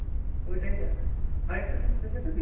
তো এটাই দেখাক। আরেকটা নিউজ দেখেছো কি?